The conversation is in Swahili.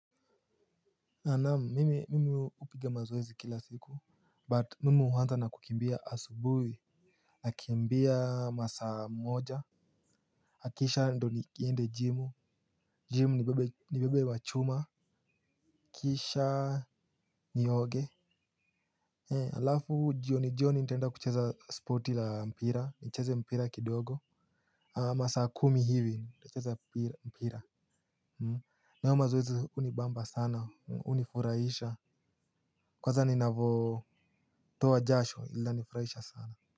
Aah nam mimi mimi hupiga mazoezi kila siku But mimi huanza na kukimbia asubuhi. Nakimbia masaa moja na kisha ndo nikiende jimu Jim ni bebe machuma. Kisha nioge He alafu jioni jioni nitaenda kucheza spoti la mpira nicheze mpira kidogo. Masaa kumi hivi nicheze mpira. Nao mazoezi hunibamba sana hunifurahisha. Kwanza ninavo toa jasho linanifurahisha sana.